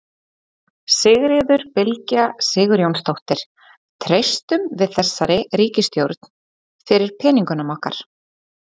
Sigríður Bylgja Sigurjónsdóttir: Treystum við þessari ríkisstjórn fyrir peningunum okkar?